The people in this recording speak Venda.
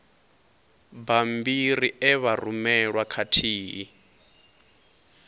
bammbiri e vha rumelwa khathihi